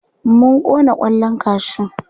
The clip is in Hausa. mun Kona kwallan kashu